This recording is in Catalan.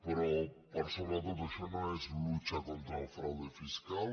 però per sobre de tot això no és lucha contra el fraude fiscal